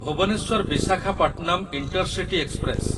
Bhubaneswar Visakhapatnam intercity express